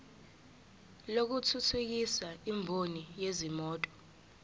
lokuthuthukisa imboni yezimoto